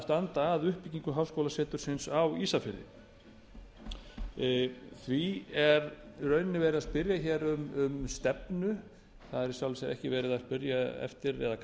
standa að uppbyggingu háskólasetursins á ísafirði því er í rauninni verið að spyrja um stefnu það er í sjálfu sér ekki verið að kalla eftir